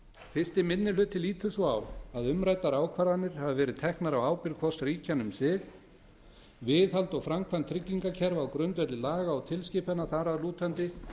fyrsti minni hluti lítur svo á að umræddar ákvarðanir hafi verið teknar á ábyrgð hvors ríkjanna um sig viðhald og framkvæmd tryggingakerfa á grundvelli laga og tilskipana þar að lútandi sé